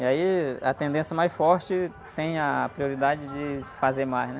E aí, a tendência mais forte tem a prioridade de fazer mais, né?